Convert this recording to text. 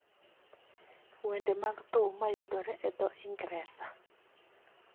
Wende mag thum mayudore e dho - Ingresa